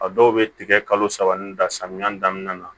A dɔw bɛ tigɛ kalo saba ni da samiya daminɛ na